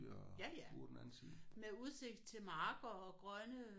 Ja ja med udsigt til marker og grønne